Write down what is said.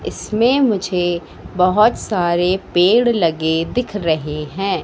इसमें मुझे बहुत सारे पेड़ लगे दिख रहे हैं।